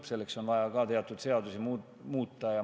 Ka selleks on vaja teatud seadusi muuta.